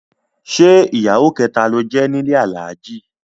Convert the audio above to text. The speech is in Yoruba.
Ṣé ìyàwó kẹta ló jẹ́ nílé Alhaji?